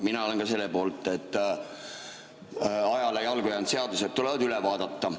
Mina olen ka selle poolt, et ajale jalgu jäänud seadused tuleb üle vaadata.